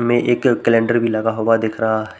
में एक कैलेंडर भी लगा हुआ दिख रहा है।